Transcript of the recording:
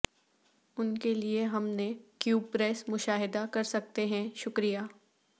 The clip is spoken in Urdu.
ان کے لئے ہم نے کیوب پریس مشاہدہ کر سکتے ہیں شکریہ